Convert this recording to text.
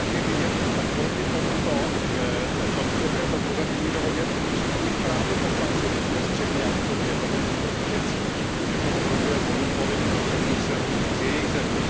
Jak je vidět, tak proti této prozatímní dohodě vystupují právě poslanci ze střední a východní Evropy, protože cítí, že to ohrožuje volný pohyb pracovních sil z jejich zemí.